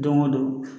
Don go don